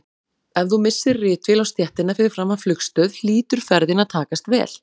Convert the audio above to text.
Ef þú missir ritvél á stéttina fyrir framan flugstöð hlýtur ferðin að takast vel.